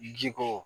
Ji kɔ